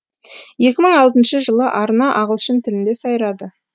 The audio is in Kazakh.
екі мың алтыншы жылы арна ағылшын тілінде сайрады